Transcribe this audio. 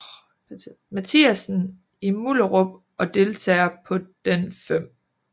Mathiassen i Mullerup og deltager på den 5